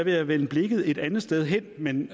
jeg vende blikket et andet sted hen men